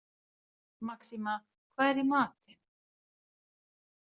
Maxima, hvað er í matinn?